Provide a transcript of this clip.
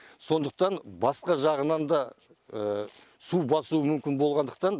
сондықтан басқа жағынан да су басуы мүмкін болғандықтан